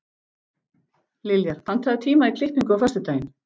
Liljar, pantaðu tíma í klippingu á föstudaginn.